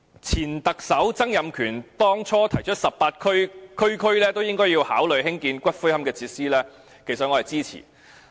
前特首曾蔭權當初提出18區每區也應考慮興建龕場設施，我其實是支持的。